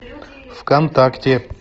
вконтакте